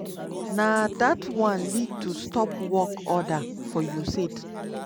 na dat one lead to stop work order for usaid.